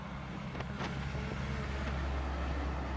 சாப்பிட்டேன் சாப்பிட்டேன் நீ என்ன பண்ற சாப்பிட்டியா